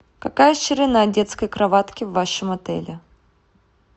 какая ширина детской кроватки в вашем отеле